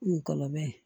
N gɔlɔbɛ